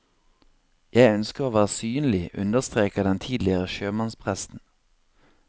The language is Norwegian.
Jeg ønsker å være synlig, understreker den tidligere sjømannspresten.